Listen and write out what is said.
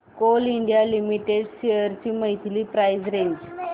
Coal India limited shares ची monthly price range